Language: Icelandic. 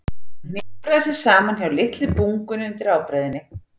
Hún hnipraði sig þar saman hjá litlu bungunni undir ábreiðunni.